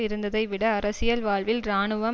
இருந்ததைவிட அரசியல் வாழ்வில் இராணுவம்